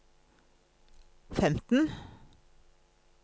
femten